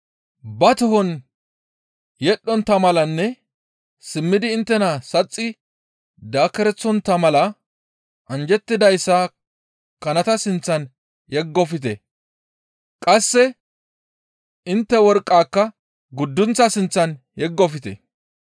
Ba tohon yedhdhontta malanne simmidi inttena saxxi daakereththontta mala anjjettidayssa kanata sinththan yeggofte; qasse intte worqqaaka guddunthata sinththan yeggofte.